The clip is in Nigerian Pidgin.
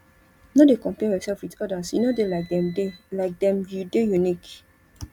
no dey compare yoursef wit odas you no dey like dem dey like dem you dey unique